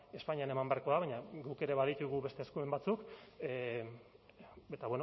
espainian eman beharko da baina guk ere baditugu beste eskumen batzuk eta